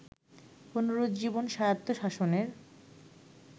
পুনরুজ্জীবন স্বায়ত্তশাসনের